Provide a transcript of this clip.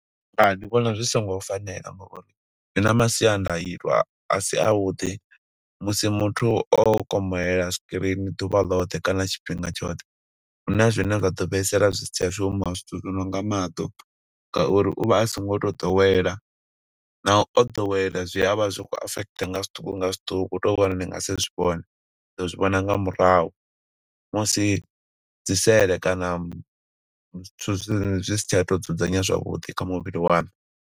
Hai, ndi vhona zwi songo fanela ngauri zwi na masiandaitwa a si a vhuḓi, musi muthu o komolela screen ḓuvha ḽoṱhe, kana tshifhinga tshoṱhe. Huna zwine zwa ḓo fhaisala zwi si tsha shuma. Zwithu zwi nonga maṱo, nga uri uvha a so ngo to ḓowela. Naho o ḓowela zwi a vha zwi khou affect nga zwiṱuku nga zwiṱuku hu to vho uri ni nga si zwi vhone. Ni ḓo zwi vhona nga murahu, musi dzi sele kana zwithu zwi si tsha to dzudzanya zwavhuḓi kha muvhili waṋu.